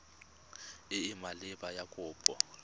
e e maleba ya kopo